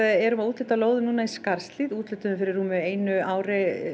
erum að úthluta lóðum í Skarðshlíð úthlutuðum fyrir rúmu einu ári